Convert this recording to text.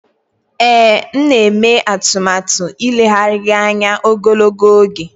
Ee, m na-eme atụmatụ ileghara gị anya ogologo oge